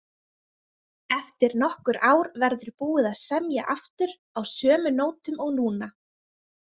Eftir nokkur ár verður búið að semja aftur, á sömu nótum og núna.